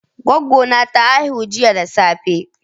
Goggo na ta haihu jiya da safe.